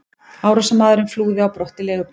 Árásarmaðurinn flúði á brott í leigubíl.